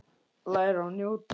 Læra og njóta.